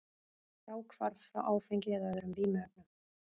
Fráhvarf frá áfengi eða öðrum vímuefnum.